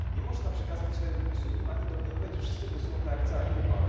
Nie można przekazać swojego głosu innym ani domniemywać, że wszyscy głosują tak jak cała grupa.